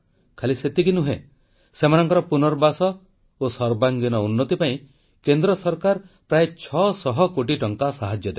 ଖାଲି ସେତିକି ନୁହେଁ ସେମାନଙ୍କର ପୁନର୍ବାସ ଓ ସର୍ବାଙ୍ଗୀନ ଉନ୍ନତି ପାଇଁ କେନ୍ଦ୍ର ସରକାର ପ୍ରାୟ 600 କୋଟି ଟଙ୍କା ସାହାଯ୍ୟ ଦେବେ